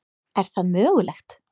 Er það mögulegt?